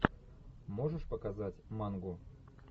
можешь показать мангу